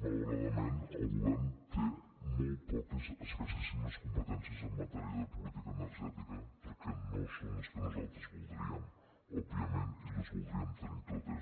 malauradament el govern té molt poques escassíssimes competències en matèria de política energètica perquè no són les que nosaltres voldríem òbviament i les voldríem tenir totes